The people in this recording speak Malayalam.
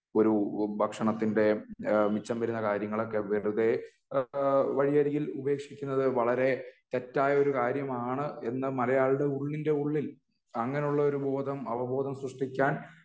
ഒരു ഭക്ഷണത്തിൻ്റെ ഇഹ് മിച്ചം വരുന്ന കാര്യങ്ങളൊക്കെ വെറുതേ ഏഹ് വഴിയരികിൽ ഉപേക്ഷിക്കുന്നത് വളരേ തെറ്റായ ഒരു കാര്യമാണ് എന്ന് മലയാളികളുടെ ഉള്ളിൻ്റെ ഉള്ളിൽ അങ്ങിനെ ഉള്ളൊരു ബോധം അവബോധം സൃഷ്ടിക്കാൻ